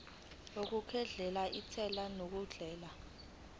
okukhokhela intela ngendlela